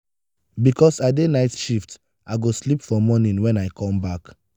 because i dey night shift i go sleep for morning wen i come back.